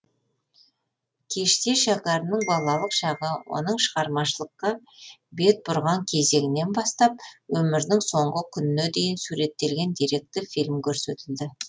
кеште шәкәрімнің балалық шағы оның шығармашылыққа бет бұрған кезеңінен бастап өмірінің соңғы күніне дейін суреттелген деректі фильм көрсетілді